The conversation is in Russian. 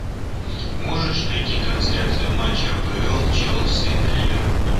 можешь найти трансляцию матча апл челси ливерпуль